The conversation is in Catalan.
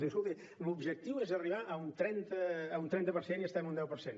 diu escolti l’objectiu és arribar a un trenta per cent i estem a un deu per cent